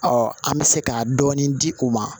an bɛ se ka dɔɔni di u ma